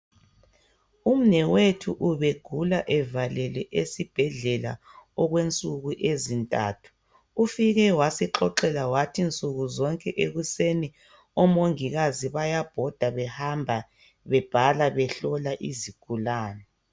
Umnewethu ubegula evalelwe esibhedlela okwensuku ezintathu ufike wasixoxela wathi nsuku zonke ekuseni omongikazi bayabhoda behamba bebhala behlola izigulani.